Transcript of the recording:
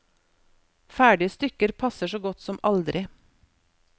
Ferdige stykker passer så godt som aldri.